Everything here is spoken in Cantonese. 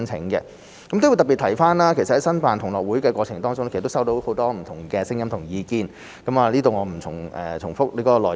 我亦要特別提及，其實在申辦同樂運動會的過程當中，我們收到很多不同的聲音及意見，我在這裏不重複內容。